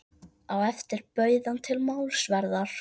Á eftir bauð hann til málsverðar.